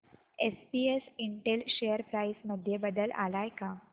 SPS Intel share price मध्ये बदल आलाय का